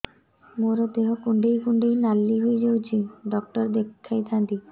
ମୋର ଦେହ କୁଣ୍ଡେଇ କୁଣ୍ଡେଇ ନାଲି ହୋଇଯାଉଛି ଡକ୍ଟର ଦେଖାଇ ଥାଆନ୍ତି